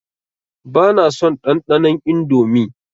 Ba na son ɗanɗanon Indomie.